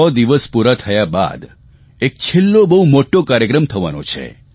સો દિવસ પૂરા થયા બાદ એક છેલ્લો બહુ મોટો કાર્યક્રમ થવાનો છે